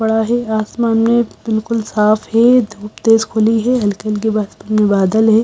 बड़ा ही आसमान में बिल्कुल साफ है धूप तेज खुली है हल्की हल्की आसमान में बादल है।